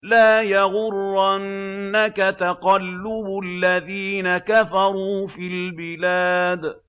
لَا يَغُرَّنَّكَ تَقَلُّبُ الَّذِينَ كَفَرُوا فِي الْبِلَادِ